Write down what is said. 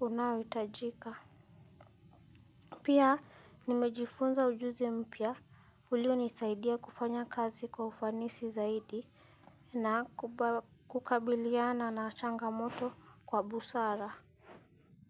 Unaoitajika. Pia nimejifunza ujuzi mpya. Ulionisaidia kufanya kazi kwa ufanisi zaidi na kukabiliana na changamoto kwa busara.